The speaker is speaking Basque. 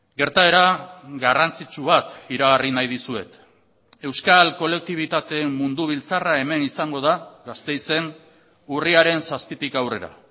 gertaera garrantzitsu bat iragarri nahi dizuet euskal kolektibitateen mundu biltzarra hemen izango da gasteizen urriaren zazpitik aurrera